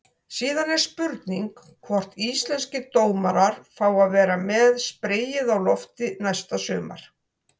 Síðan er spurning hvort íslenskir dómarar fái að vera með spreyið á lofti næsta sumar?